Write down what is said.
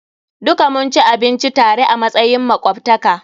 Duka mun ci abinci tare a matsayin makwabtaka.